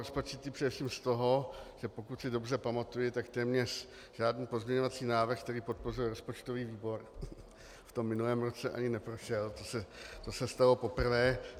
Rozpačitý především z toho, že pokud si dobře pamatuji, tak téměř žádný pozměňovací návrh, který podpořil rozpočtový výbor, v tom minulém roce ani neprošel, to se stalo poprvé.